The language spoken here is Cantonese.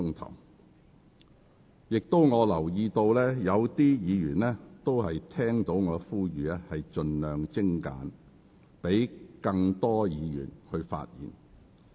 我也留意到有議員聽到我的呼籲，盡量精簡發言，以便讓更多議員可以表達意見。